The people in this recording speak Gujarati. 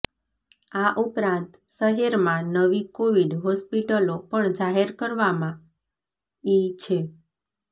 આ ઉપરાંત શહેરમાં નવી કોવિડ હોસ્પિટલો પણ જાહેર કરવામાં આી છે